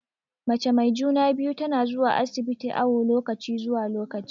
Mace mai juna-biyu tana zuwa asibiti awu lokaci zuwa lokaci.